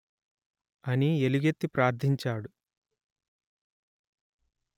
అని ఎలుగెత్తి ప్రార్థించాడు